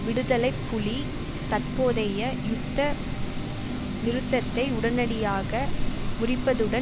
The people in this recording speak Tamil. விடுதலை புலி தற்போதைய யுத்த நிறுத்தத்தை உடனடியாக முறிப்பதுடன்